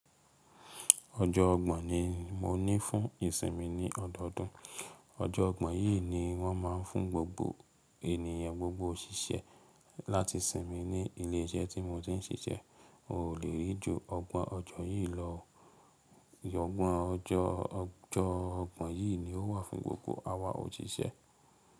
Ọjọ́ ọgbọ̀n ni mo ní fún ìsinmi ní ọdọọdún. Ọjọ́ ọgbọ̀n yìí ni wọ́n ma ń fún gbogbo ènìyàn, gbogbo òṣìṣẹ́ láti sinmi ní ilé iṣẹ́ tí mo ti ń ṣiṣẹ́. O lè rí ju ọgbọ̀n ọjọ́ yìí lọ. Ọgbọ̀n ọjọ́, ọjọ́ ọgbọ̀n yìí ni ó wà fún gbogbo àwa òṣìṣẹ́.